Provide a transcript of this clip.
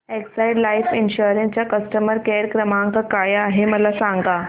Exide life insurance चा customer care क्रमांक काय आहे मला सांगा